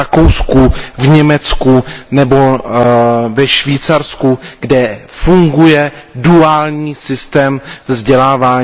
v Rakousku, Německu nebo ve Švýcarsku, kde funguje duální systém vzdělávání.